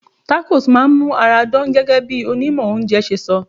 Tacos máa ń mú ara dán gẹ́gẹ́ bí onímọ̀ oúnjẹ ṣe sọ.